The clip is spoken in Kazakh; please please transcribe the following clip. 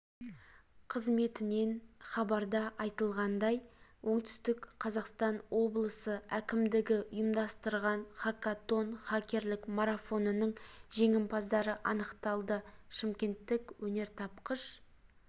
қызметінен хабарда айтылғандай оңтүстік қазақстан облысы әкімдігі ұйымдастырған хакатон хакерлік марафонының жеңімпаздары анықталды шымкенттік өнертапқыш